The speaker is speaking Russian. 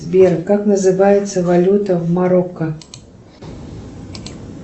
сбер как называется валюта в марокко